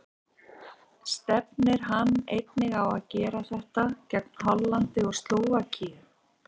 Stefnir hann einnig á að gera það gegn Hollandi og Slóvakíu?